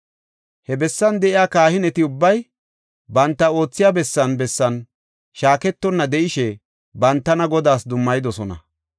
He bessan de7iya kahineti ubbay banta oothiya bessan bessan shaaketonna de7ishe bantana Godaas dummayidosona.